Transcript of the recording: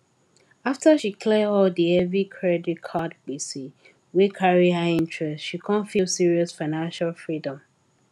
after she clear all di heavy credit card gbese wey carry high interest she come feel serious financial freedom